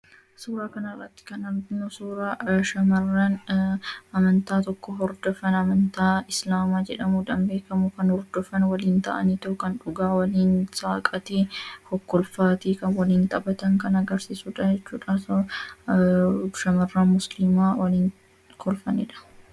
suuraa kanaraatti kan arnu suuraa hamran amantaa tokko hordofan amantaa islaamaa jedhamu dhan beekamuu kan hordofan waliin ta'anii tookan dhugaa waliin saaqatii hokkolfaatii ka waliin xaphatan kan agarsiisu daachuudhasshamarra muslimaa waliin kolfannidha